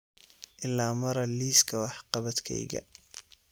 ila mara liiska wax-qabadkayga